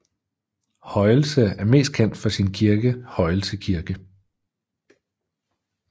Højelse er mest kendt for sin kirke Højelse Kirke